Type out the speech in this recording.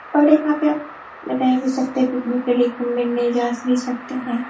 और यहाँ पे आप रह भी सकते है पिकनिक के लिए घूमने ने जा भी सकते है ।